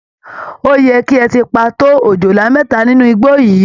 Ó yẹ kí ẹ ti pa tó ọ̀jọ̀lá méta nínú igbó yìí!